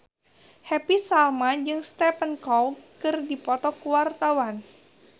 Happy Salma jeung Stephen Chow keur dipoto ku wartawan